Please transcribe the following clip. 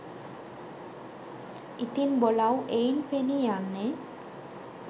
ඉතින් බොලවු එයින් පෙනී යන්නේ